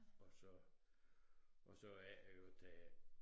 Og så og så er det jo det er